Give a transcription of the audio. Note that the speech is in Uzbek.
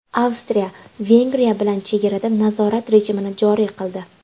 Avstriya Vengriya bilan chegarada nazorat rejimini joriy qildi.